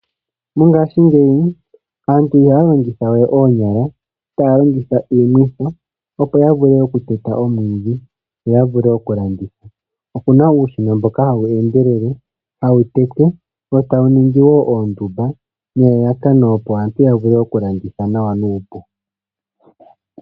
Mongashingeyi aantu ihaya longithawe oonyala tays longitha iimwitho okuteta omwiidhi. Okuna uushina mboka aantu haya longitha okuteta omwiidhi wo tawu gongele oondumba nelalakano, opo ya vule okulanditha nawa nuupu.